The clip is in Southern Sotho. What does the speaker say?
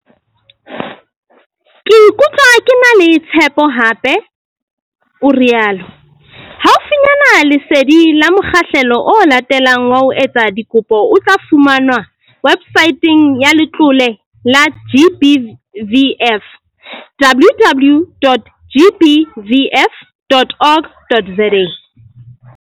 Ke ikutlwa ke na le tshepo hape," o rialo. Haufinyana lesedi la mokgahlelo o latelang wa ho etsa dikopo o tla fumanwa websaeteng ya Letlole la GBVF, www.gbvf.org.za